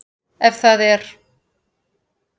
Ef það er?